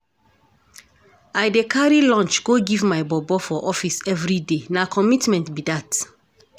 I dey carry lunch go give my bobo for office everyday, na commitment be dat.